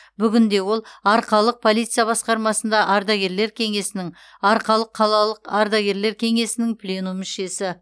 бүгінде ол арқалық полиция басқармасында ардагерлер кеңесінің арқалық қалалық ардагерлер кеңесінің пленум мүшесі